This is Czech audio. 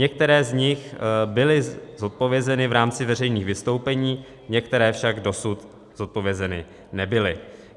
Některé z nich byly zodpovězeny v rámci veřejných vystoupení, některé však dosud zodpovězeny nebyly.